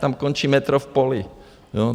Tam končí metro v poli.